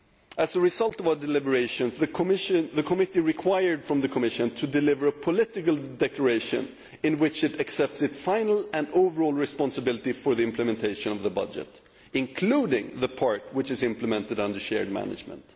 As a result of our deliberations, the committee required that the Commission deliver a political declaration in which it accepts its final and overall responsibility for the implementation of the budget, including the part which is implemented under shared management.